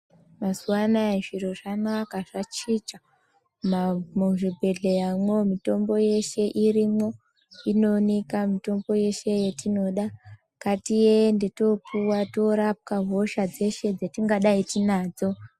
Mazuwa anaya zviro zvakanaka zvachicha. Muzvibhedhleyamwo mitombo yeshe irimwo, inooneka mitombo yeshe yetinoda. Ngatiende toopuwa, toorapwa hosha dzeshe dzatingadai tinadzo.